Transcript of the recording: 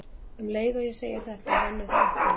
Um leið og ég segi þetta rennur það upp fyrir mér að